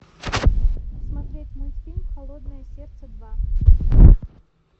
смотреть мультфильм холодное сердце два